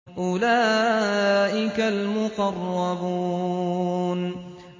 أُولَٰئِكَ الْمُقَرَّبُونَ